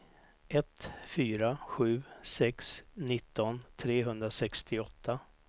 ett fyra sju sex nitton trehundrasextioåtta